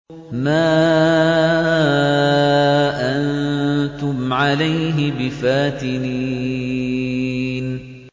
مَا أَنتُمْ عَلَيْهِ بِفَاتِنِينَ